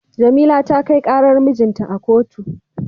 Jamila ta kai karar mijinta a kotu.